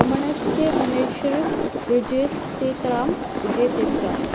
रमणस्य महर्षेर्विजयतेतरां विजयतेतराम्